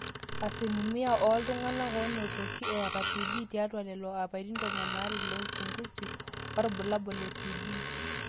asilimia ooltung'anak oonotoki eeta tb tiatwa lelo apaitin tomon aare le uchungusi orbulabul le tb